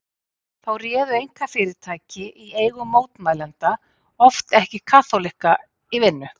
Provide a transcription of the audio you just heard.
Þá réðu einkafyrirtæki í eigu mótmælenda oft ekki kaþólikka í vinnu.